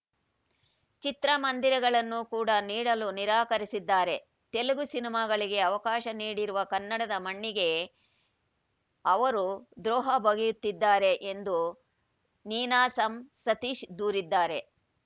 ಚಿತ್ರಮಂದಿರಗಳನ್ನು ಕೂಡ ನೀಡಲು ನಿರಾಕರಿಸಿದ್ದಾರೆ ತೆಲುಗು ಸಿನಿಮಾಗಳಿಗೆ ಅವಕಾಶ ನೀಡಿರುವ ಕನ್ನಡದ ಮಣ್ಣಿಗೆ ಅವರು ದ್ರೋಹ ಬಗೆಯುತ್ತಿದ್ದಾರೆ ಎಂದು ನೀನಾಸಂ ಸತೀಶ್‌ ದೂರಿದ್ದಾರೆ